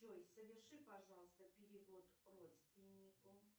джой соверши пожалуйста перевод родственнику